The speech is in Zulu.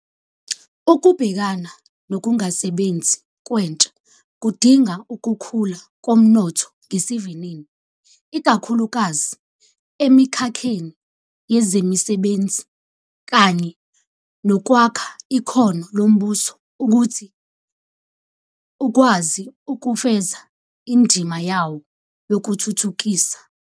Ukubhekana nokungasebenzi kwentsha kudinga ukukhula komnotho ngesivinini, ikakhulukazi emikhakheni yezemisebenzi, kanye nokwakha ikhono lombuso ukuthi ukwazi ukufeza indima yawo yokuthuthukisa.